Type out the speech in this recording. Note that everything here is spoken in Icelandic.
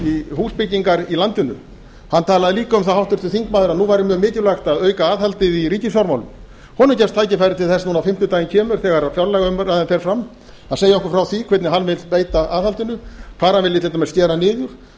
í húsbyggingar í landinu háttvirtur þingmaður talaði líka um að nú væri mjög mikilvægt að auka aðhaldið í ríkisfjármálum honum gefst tækifæri til þess núna á fimmtudaginn kemur þegar fjárlagaumræðan fer fram að segja okkur frá því hvernig hann vill beita aðhaldinu hvar hann vilji til dæmis skera niður